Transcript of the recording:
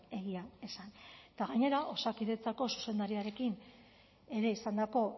egia esan eta gainera osakidetzako zuzendariarekin ere izandako